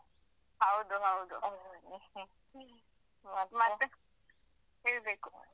ಹೌದು ಹೌದು ಮತ್ತೆ ಹೇಳ್ಬೇಕು.